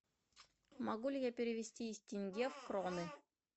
могу ли я перевести из тенге в кроны